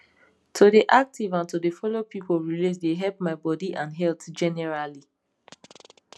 to dey active and to dey follow people relate dey help my body and health generally